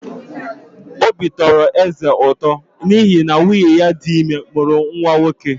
Obi tọrọ eze ụtọ n’ihi na nwunye ya dị ime mụrụ nwa nwoke.